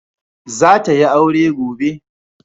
Za ta yi aure gobe.